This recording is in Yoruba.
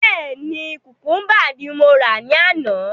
Bẹ́ẹ̀ni, kukumba ní mo rà ní àná